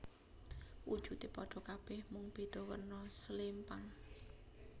Wujude padha kabeh mung beda werna slempang